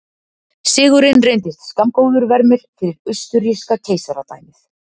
Sigurinn reyndist skammgóður vermir fyrir austurríska keisaradæmið.